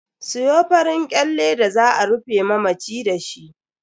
Siyo farin kyalle da za a rufe mamaci dashi.